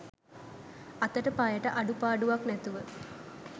අතට පයට අඩුපාඩුවක් නැතුව